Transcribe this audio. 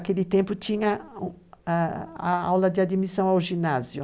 Naquele tempo tinha aula de admissão ao ginásio.